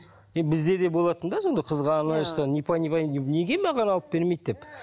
енді бізде де болатын да сондай қызғаныштар непонимание неге маған алып бермейді деп